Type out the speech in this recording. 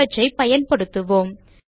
அவற்றை பயன்படுத்துவோம்